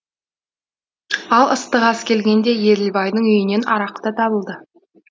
ал ыстық ас келгенде еділбайдың үйінен арақ та табылды